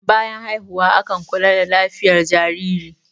bayan haihuwa akan kula da lafiyat jariri